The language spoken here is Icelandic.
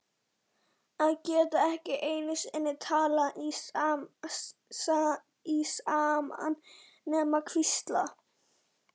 Að geta ekki einu sinni talað í símann nema hvísla.